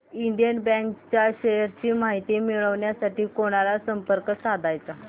Indian bank च्या shares ची माहिती मिळविण्यासाठी कोणाला संपर्क साधायचा